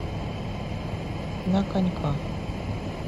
на коньках